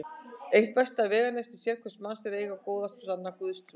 Eitt besta veganesti sérhvers manns er að eiga góða og sanna Guðstrú.